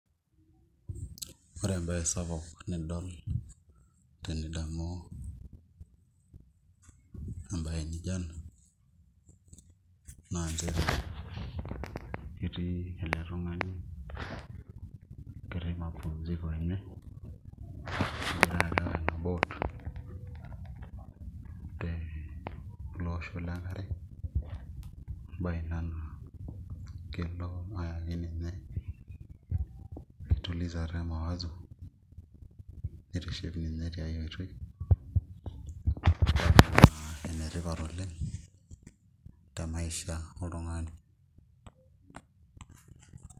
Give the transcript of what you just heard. Ore embaye sapuk nidol tenidamu embaye nijio ena naa nchere etii ele tung'ani ketii mapumziko tene egira areu ena boat tele osho lenkare embaye ina naa kelo ayaki ninye enkitulizata emawazo nitiship ninye tiai oitoi entoki ina naa enetipat oleng' temaisha oltung'ani.